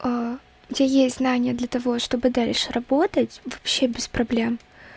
где есть знания для того чтобы дальше работать вообще без проблем